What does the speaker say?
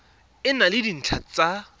e na le dintlha tsa